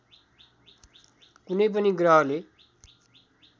कुनै पनि ग्रहले